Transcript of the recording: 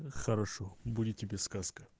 хорошо будет тебе сказка